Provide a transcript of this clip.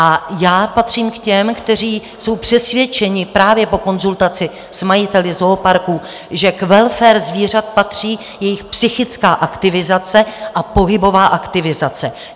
A já patřím k těm, kteří jsou přesvědčeni právě po konzultaci s majiteli zooparků, že k welfare zvířat patří jejich psychická aktivizace a pohybová aktivizace.